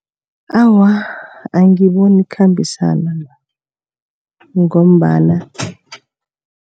Awa, angiboni ikhambisana ngombana